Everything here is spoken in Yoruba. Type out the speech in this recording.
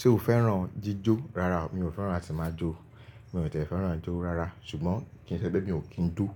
Ṣé o fẹ́ràn jíjó? Rárá, mi ò fẹ́ràn láti máa jó. Mi ò tì fẹ́ràn i jó rárá ṣùgbọ́n kí n sẹ́ pé mi ò kín jó.